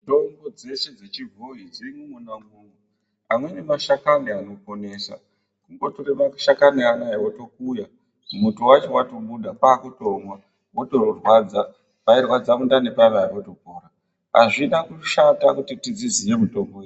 Mitombo dzeshe dzechibhoyi dzirimwo mwona imwomwo. Amweni mashakani anoponesa. Wongotora mashakani anaya wotokuya, muto wacho watobuda wotomwa motorwadza. Pairwadza mundani paya paya potopora. Hazvina kushata kuti tidziziye mitombo idzi.